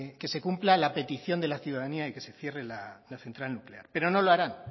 que se cumpla la petición de la ciudadanía de que se cierre la central nuclear pero no lo harán